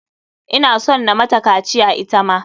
Ina son na mata kaciya ita ma.